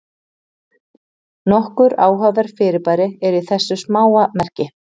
Nokkur áhugaverð fyrirbæri eru í þessu smáa merki.